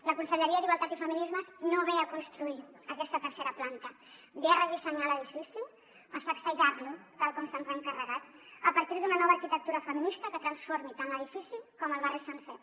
la conselleria d’igualtat i feminismes no ve a construir aquesta tercera planta ve a redissenyar l’edifici a sacsejar lo tal com se’ns ha encarregat a partir d’una nova arquitectura feminista que transformi tant l’edifici com el barri sencer